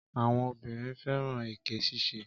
Àwọn obìnrin fẹ́ràn èké ṣíṣe.